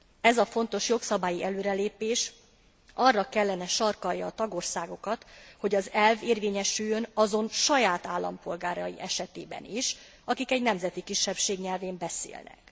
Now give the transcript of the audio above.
Ez a fontos jogszabályi előrelépés arra kellene sarkallja a tagországokat, hogy az elv érvényesüljön azon saját állampolgárai esetében is, akik egy nemzeti kisebbség nyelvén beszélnek.